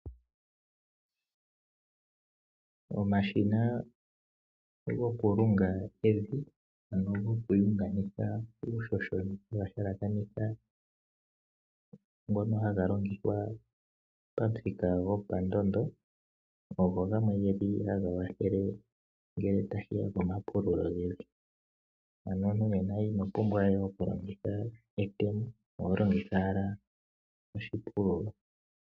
Omashina goku lunga ev ano goku vundakanitha uuhoho ngono haga longithwa pamuthika gopandondo ogo gamwe geli haga kwathele ngele tashiya pamapululo gevu ,ano omuntu inopumbwa we oku longitha etemo oho longitha owala oshipululo.